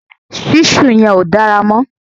ṣísù yẹn ò dára mọ̀